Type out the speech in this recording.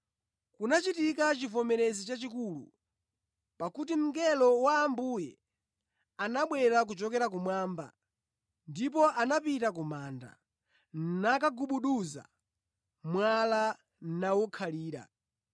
Kunachitika chivomerezi chachikulu, pakuti mngelo wa Ambuye anabwera kuchokera kumwamba ndipo anapita ku manda, nakagubuduza mwala nawukhalira.